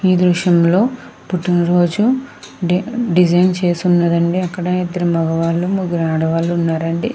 ఈ దృశ్యం లో పుట్టిన రోజు డిజైన్ చేసి ఉన్నది. అండి అక్కడ ఇద్దరు మగవాలు ముగ్గురు ఆడవారు ఉన్నారు అండి.